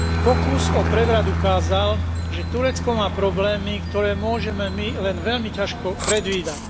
Pokus o prevrat ukázal, že Turecko má problémy, ktoré môžeme my len veľmi ťažko predvídať.